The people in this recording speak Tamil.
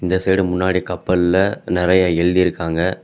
இந்த சைடு முன்னாடி கப்பல்ல நறைய எழுதி இருக்காங்க.